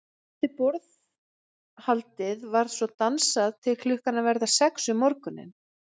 Eftir borðhaldið var svo dansað til klukkan að verða sex um morguninn.